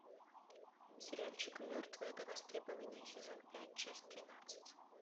сериальчик мертвые до востребования сезон пять часть тринадцать